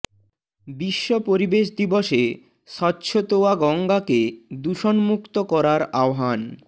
বিশ্ব পরিবেশ দিবসে স্বচ্ছতোয়া গঙ্গাকে দূষণ মুক্ত করার আহ্বান